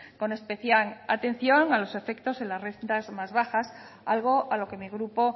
con especial atención a los efectos de las rentas más bajas algo a lo que mi grupo